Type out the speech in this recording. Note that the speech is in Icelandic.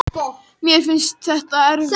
Mér finnst þetta svo erfitt, sagði hún.